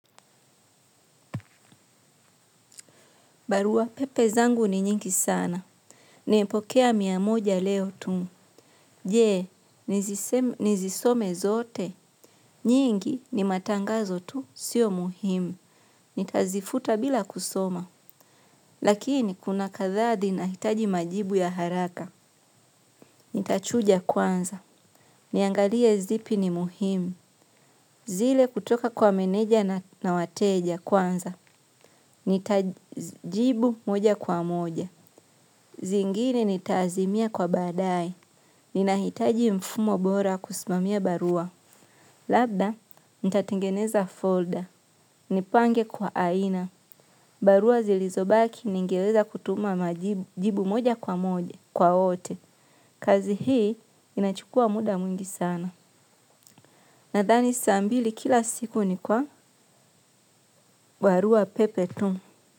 Barua pepe zangu ni nyingi sana. Nimepokea mia moja leo tu. Je, nizisome zote. Nyingi ni matangazo tu, sio muhimu. Nitazifuta bila kusoma. Lakini kuna kadhaa zin hitaji majibu ya haraka. Nitachuja kwanza, niangalie zipi ni muhimu. Zile kutoka kwa meneja na wateja kwanza. Nitajibu moja kwa moja. Zingine nitaazimia kwa badaye, ninahitaji mfumo bora kusimamia barua. Labda, nitatengeneza folda nipange kwa aina. Barua zilizobaki ningeweza kutuma jibu moja kwa moja kwa ote. Kazi hii inachukua muda mwingi sana nadhani saa mbili kila siku ni kwa barua pepe tu.